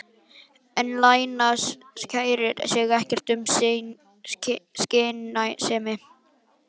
En Lena kærir sig ekkert um skynsemi.